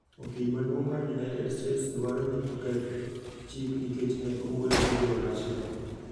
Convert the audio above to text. okil maduong mar United States dwaro ni oketh chik nikech ne owuoyo gi Jo Russia